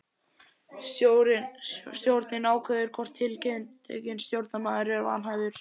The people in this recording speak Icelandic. Stjórnin ákveður hvort tiltekinn stjórnarmaður er vanhæfur.